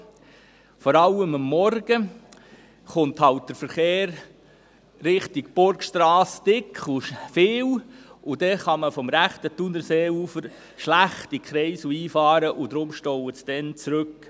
Vor allem am Morgen kommt halt der Verkehr in Richtung Burgstrasse dicht und zahlreich, und dann kann man vom rechten Thunerseeufer schlecht in den Kreisel einfahren, und darum staut es dann zurück.